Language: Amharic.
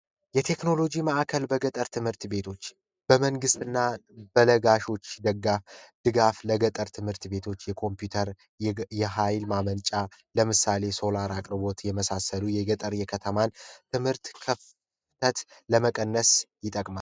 የቴክኖሎጂ ማዕከል በገጠር ትምህርት ቤቶች በመንግስት እና በነጋሾች ደጋ ድጋፍ ለገጠር ትምህርት ቤቶች የኮምፒውተር የኃይል ማመንጫ ለምሳሌ ሶላር አቅርቦት የመሳሰሉ የገጠር የከተማ ትምህርት ለመቀነስ ይጠቅማል